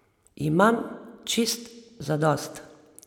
Imam čist zadost.